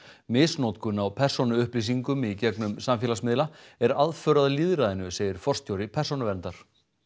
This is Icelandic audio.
misnotkun á persónuupplýsingum í gegnum samfélagsmiðla er aðför að lýðræðinu segir forstjóri Persónuverndar